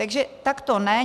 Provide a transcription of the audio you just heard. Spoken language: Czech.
Takže takto ne.